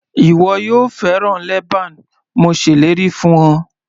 Ìwọ yóò fẹ́ràn leban mo ṣèlérí fún ọ.